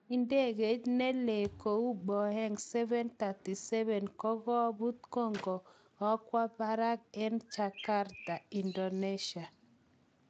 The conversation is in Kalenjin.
Ndegeit ne lee kou Boeing 737 kokoput ko kokokwa parak en jakarta, Indonesia.